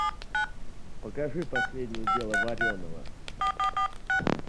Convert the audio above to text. покажи последнее дело вареного